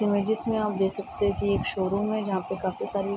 जिसमे आप देख सकते है कि एक शोरूम है जहाँ पे काफी सारी --